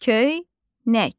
Köynək.